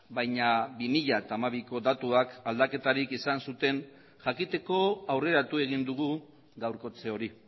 baina bi mila hamabiko datuak aldaketarik izan zuten jakiteko aurreratu egin dugu gaurkotze hori